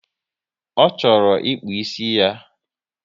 Ọ chọrọ ikpu ịsị ya